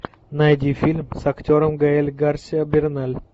найди фильм с актером гаэль гарсиа берналь